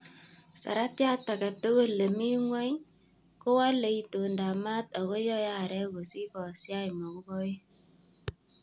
Saratiat aketukul nemi ngwon kowole intondap maat ako yoe arek kosich kosiach mokuboik.